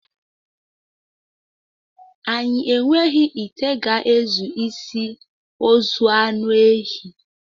Anyị enweghị ite ga-ezu isi ozu any ehi